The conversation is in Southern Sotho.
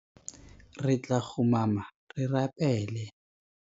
Re tla kgumama re rapele.